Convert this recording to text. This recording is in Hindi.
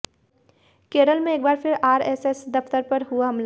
केरल में एक बार फिर आरएसएस दफ्तर पर हुआ हमला